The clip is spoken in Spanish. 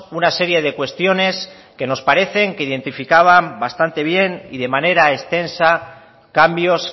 una serie de cuestiones que nos parece que identificaban bastante bien y de manera extensa cambios